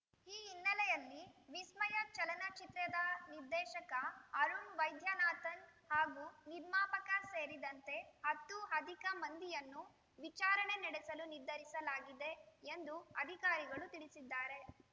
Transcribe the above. ಈ ಹಿನ್ನೆಲೆಯಲ್ಲಿ ವಿಸ್ಮಯ ಚಲಚಚಿತ್ರೆದ ನಿರ್ದೇಶಕ ಅರುಣ್‌ ವೈದ್ಯನಾಥನ್‌ ಹಾಗೂ ನಿರ್ಮಾಪಕ ಸೇರಿದಂತೆ ಹತ್ತು ಅಧಿಕ ಮಂದಿಯನ್ನು ವಿಚಾರಣೆ ನಡೆಸಲು ನಿರ್ಧರಿಸಲಾಗಿದೆ ಎಂದು ಅಧಿಕಾರಿಗಳು ತಿಳಿಸಿದ್ದಾರೆ